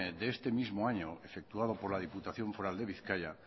de este mismo año efectuado por la diputación foral de bizkaia